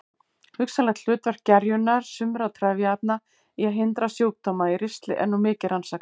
Hugsanlegt hlutverk gerjunar sumra trefjaefna í að hindra sjúkdóma í ristli er nú mikið rannsakað.